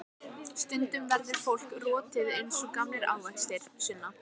Stundum verður fólk rotið eins og gamlir ávextir, Sunna.